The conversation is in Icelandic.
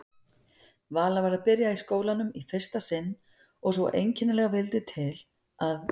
Vala var að byrja í skólanum í fyrsta sinn og svo einkennilega vildi til að